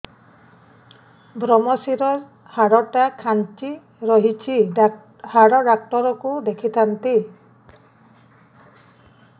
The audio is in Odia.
ଵ୍ରମଶିର ହାଡ଼ ଟା ଖାନ୍ଚି ରଖିଛି ହାଡ଼ ଡାକ୍ତର କୁ ଦେଖିଥାନ୍ତି